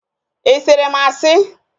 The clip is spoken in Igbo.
I sịrị m asị?